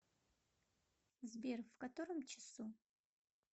сбер в котором часу